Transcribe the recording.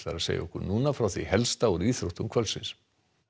að segja okkur frá því helsta úr íþróttum kvöldsins